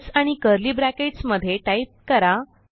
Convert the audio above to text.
else आणि curly brackets मध्ये type करा